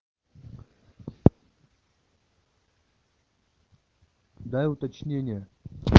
дай уточнение